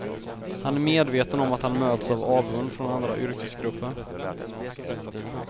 Han är medveten om att han möts av avund från andra yrkesgrupper.